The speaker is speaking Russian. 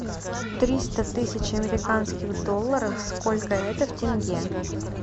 триста тысяч американских долларов сколько это в тенге